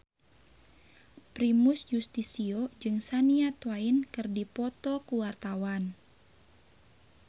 Primus Yustisio jeung Shania Twain keur dipoto ku wartawan